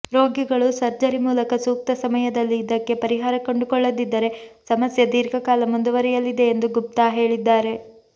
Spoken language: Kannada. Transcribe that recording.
ರೋಗಿಗಳು ಸರ್ಜರಿ ಮೂಲಕ ಸೂಕ್ತ ಸಮಯದಲ್ಲಿ ಇದಕ್ಕೆ ಪರಿಹಾರ ಕಂಡುಕೊಳ್ಳದಿದ್ದರೆ ಸಮಸ್ಯೆ ಧೀರ್ಘಕಾಲ ಮುಂದುವರಿಯಲಿದೆ ಎಂದು ಗುಪ್ತಾ ಹೇಳಿದ್ದಾರೆ